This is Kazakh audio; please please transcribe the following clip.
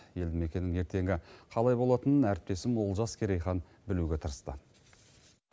елді мекеннің ертеңі қалай болатынын әріптесім олжас керейхан білуге тырысты